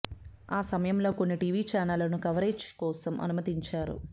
ఆ సమయంలో కొన్ని టీవీ ఛానళ్లను కవరేజీ కోసం అనుమతించారు